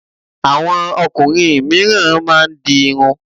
Àwọn ọkùnrin mìíràn máá ń di irun